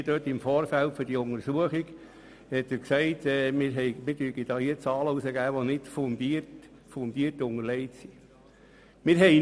Herr Justizdirektor Neuhaus hat in der GPK-Kommission gesagt, wir würden Zahlen herausgeben, die nicht fundiert unterlegt seien.